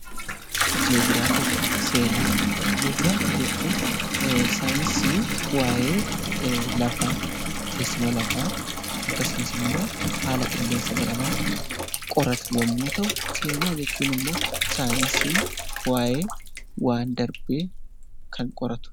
Jii'oogiraafii jechuun saayinsii waayee lafaa teessuma lafaa akkasumas immoo haala qilleensa baramaa qoratu yommuu ta'u, seenaa jechuun ammoo saayinsii waayee waan darbee kan qoratudha.